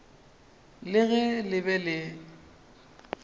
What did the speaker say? le ge le be le